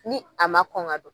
Ni a ma kɔn ka don.